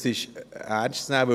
Das ist ernst zu nehmen.